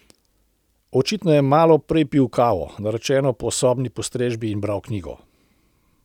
Očitno je malo prej pil kavo, naročeno po sobni postrežbi, in bral knjigo.